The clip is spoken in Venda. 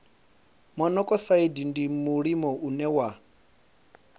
monokosaidi ndi mulimo une wa